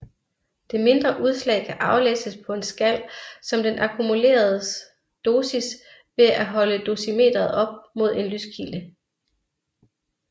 Det mindre udslag kan aflæses på en skal som den akkumulerede dosis ved at holde dosimetret op mod en lyskilde